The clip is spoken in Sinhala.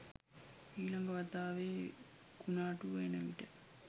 ඊළඟ වතාවේ කුණාටුව එන විට